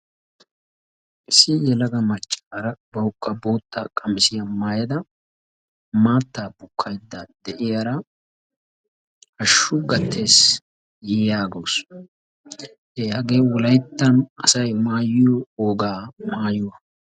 Issi yelaga maccaara bawukka bootta qamisiyaa maayada maattaa bukkaydda de'iyaara hashshu gattes yaagawus hagee wolayttan asay maayioo wogaa mayuwaa.